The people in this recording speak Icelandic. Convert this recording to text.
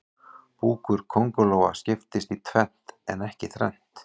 Búkur kóngulóa skiptist í tvennt en ekki þrennt.